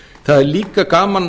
það er líka gaman